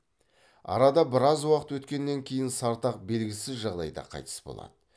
арада біраз уақыт өткеннен кейін сартақ белгісіз жағдайда қайтыс болады